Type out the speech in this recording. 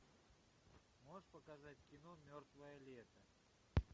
можешь показать кино мертвое лето